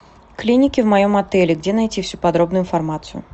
клиники в моем отеле где найти всю подробную информацию